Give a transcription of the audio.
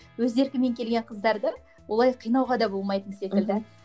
өз еркімен келген қыздарды олай қинауға да болмайтын секілді мхм